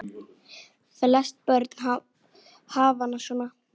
Flest börn hafa hana svona